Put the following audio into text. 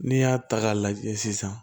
N'i y'a ta k'a lajɛ sisan